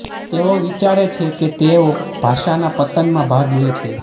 તેઓ વિચારે છે કે તેઓ ભાષાના પતનમાં ભાગ લે છે